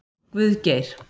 Guðgeir